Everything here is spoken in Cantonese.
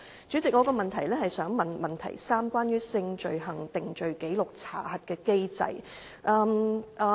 主席，我的補充質詢涉及第二部分提到的性罪行定罪紀錄查核機制。